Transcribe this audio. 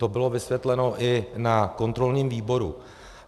To bylo vysvětleno i na kontrolním výboru.